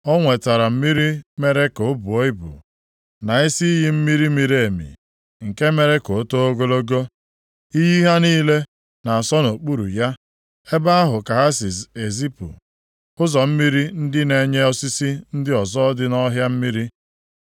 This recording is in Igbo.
O nwetara mmiri mere ka o buo ibu, na isi iyi mmiri miri emi nke mere ka o too ogologo. Iyi ha niile na-asọ nʼokpuru ya. Ebe ahụ ka ha si ezipu ụzọ mmiri ndị na-enye osisi ndị ọzọ dị nʼọhịa mmiri.